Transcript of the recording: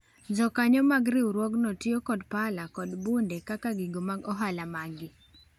Jokanyo mag riwruogno tiyo kod pala kod bunde kaka gigo mag ohala magi